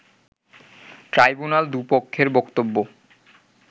tribunal দু’পক্ষের বক্তব্য